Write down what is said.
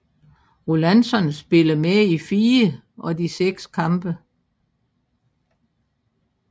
Rólantsson spillede med i fire af de seks kampe